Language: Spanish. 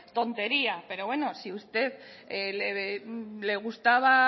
tontería pero bueno si a usted le gustaba